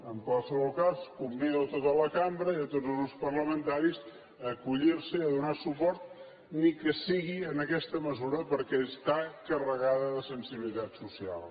en qualsevol cas convido a tota la cambra i a tots els grups parlamentaris a acollir s’hi i a donar hi suport ni que sigui en aquesta mesura perquè està carregada de sensibilitat social